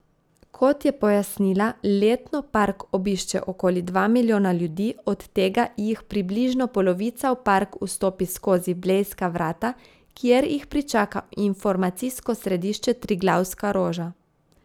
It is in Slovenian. Kot je pojasnila, letno park obišče okoli dva milijona ljudi, od tega jih približno polovica v park vstopi skozi blejska vrata, kjer jih pričaka informacijsko središče Triglavska roža.